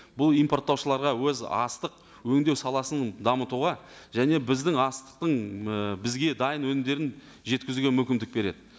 бұл импорттаушыларға өз астық өңдеу саласын дамытуға және біздің астықтың ы бізге дайын өнімдерін жеткізуге мүмкіндік береді